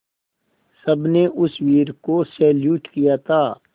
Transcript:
सबने उस वीर को सैल्यूट किया था